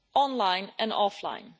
online and offline.